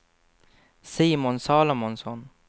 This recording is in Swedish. Simon Salomonsson